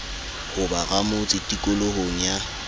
ho ba ramotse tikolohong ya